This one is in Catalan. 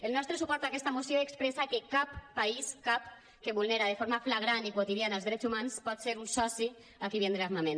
el nostre suport a aquesta moció expressa que cap país cap que vulnera de forma flagrant i quotidiana els drets humans pot ser un soci a qui vendre armament